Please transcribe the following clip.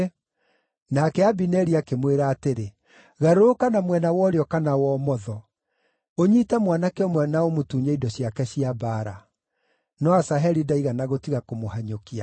Nake Abineri akĩmwĩra atĩrĩ, “Garũrũka na mwena wa ũrĩo kana wa ũmotho; ũnyiite mwanake ũmwe na ũmũtunye indo ciake cia mbaara.” No Asaheli ndaigana gũtiga kũmũhanyũkia.